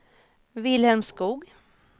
Wilhelm Skoog